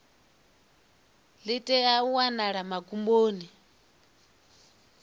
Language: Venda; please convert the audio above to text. ḽi tea u wanala magumoni